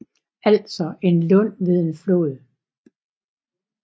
Altså en lund ved en flod